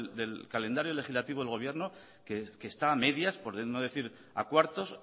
del calendario legislativo del gobierno que está a medias por no decir a cuartos